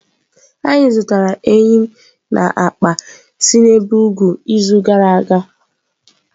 Anyị zụtara eyịm na akpa si n'ebe ugwu izu gara aga.